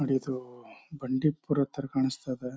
ನೋಡ್ ಇದು ಬಂಡೀಪುರ ಥರ ಕಾಣಿಸ್ತಾ ಇದೆ.